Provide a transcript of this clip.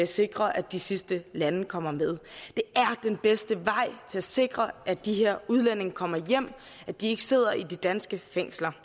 sikre at de sidste lande kommer med det er den bedste vej til at sikre at de her udlændinge kommer hjem og at de ikke sidder i de danske fængsler